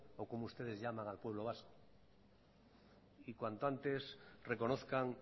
o como ustedes llaman al pueblo vasco y cuanto antes reconozcan